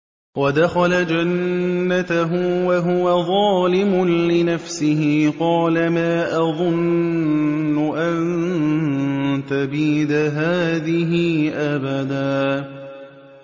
وَدَخَلَ جَنَّتَهُ وَهُوَ ظَالِمٌ لِّنَفْسِهِ قَالَ مَا أَظُنُّ أَن تَبِيدَ هَٰذِهِ أَبَدًا